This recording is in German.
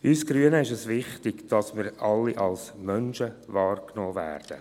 Uns Grünen ist es wichtig, dass wir alle als Menschen wahrgenommen werden.